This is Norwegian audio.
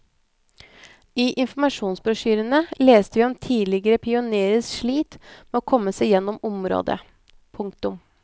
I informasjonsbrosjyrene leste vi om tidligere pionerers slit med å komme seg gjennom området. punktum